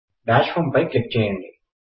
dash home పై click చేయండి